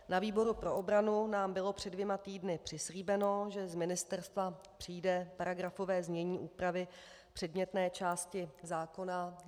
Na výboru pro obranu nám bylo před dvěma týdny přislíbeno, že z ministerstva přijde paragrafové znění úpravy předmětné části zákona.